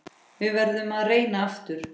Við verðum að reyna aftur.